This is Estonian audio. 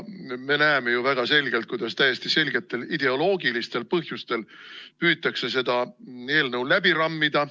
Me näeme väga hästi, kuidas täiesti selgetel ideoloogilistel põhjustel püütakse seda eelnõu läbi rammida.